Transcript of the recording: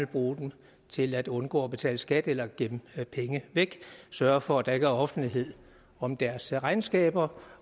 bruge dem til at undgå at betale skat eller gemme penge væk sørge for at der ikke er offentlighed om deres regnskaber